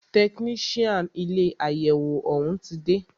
Tẹkinician ilé àyẹwò òún ti dé.